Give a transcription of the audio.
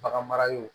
Bagan mara yɔrɔ